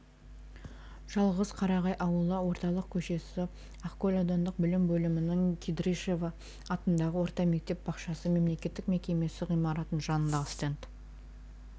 жалғыз қарағай ауылы орталық көшесі ақкөл аудандық білім бөлімінің кирдищева атындағы орта мектеп-бақшасы мемлекеттік мекемесі ғимаратының жанындағы стенд